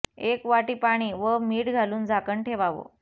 एक वाटी पाणी व मीठ घालून झाकण ठेवावं